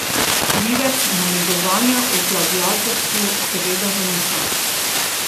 Krivec namigovanja o plagiatorstvu seveda zanika.